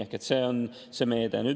Ehk see on see meede.